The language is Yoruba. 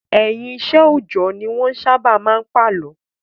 Ẹ̀yìn iṣẹ́ òòjọ́ ni wọ́n sábà máa ń pàlọ́.